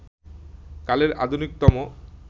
কালের আধুনিকতম